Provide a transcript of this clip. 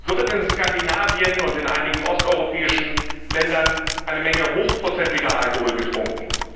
So wird in Skandinavien und in einigen osteuropäischen Ländern eine Menge hochprozentiger Alkohol getrunken.